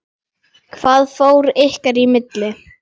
Hvað fór ykkar í milli?